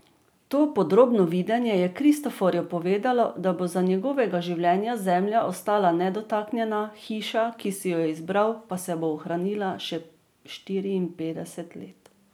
To podrobno videnje je Kristoforju povedalo, da bo za njegovega življenja zemlja ostala nedotaknjena, hiša, ki si jo je izbral, pa se bo ohranila še štiriinpetdeset let.